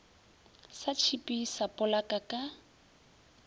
sa tšhipi sa polaka ka